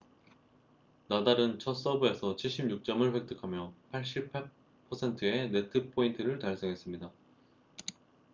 나달은 첫 서브에서 76점을 획득하며 88%의 네트 포인트를 달성했습니다